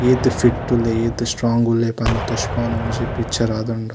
ಈತ್ ಫಿಟ್ ಉಲ್ಲೆ ಏತ್ ಸ್ಟೋಂಗ್ ಉಲ್ಲೆ ಪಂದ್ ತೊಜ್ಪಾವುನ ಒಂಜಿ ಪಿಕ್ಚರ್ ಆದ್ ಉಂಡು.